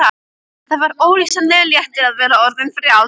Það var ólýsanlegur léttir að vera orðin frjáls.